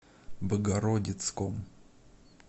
богородицком